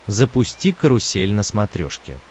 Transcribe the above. запусти карусель на смотрешке